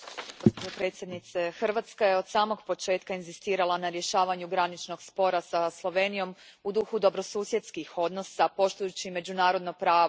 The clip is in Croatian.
Gospođo predsjednice, Hrvatska je od samog početka inzistirala na rješavanju graničnog spora sa Slovenijom u duhu dobrosusjedskih odnosa, poštujući međunarodno pravo.